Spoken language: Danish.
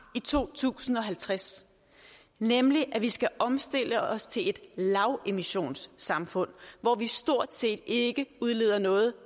i to tusind og halvtreds nemlig at vi skal omstille os til et lavemissionssamfund hvor vi stort set ikke udleder noget